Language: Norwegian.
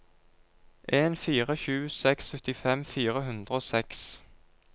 en fire sju seks syttifem fire hundre og seks